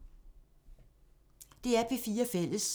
DR P4 Fælles